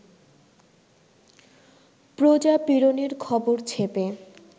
প্রজাপীড়নের খবর ছেপে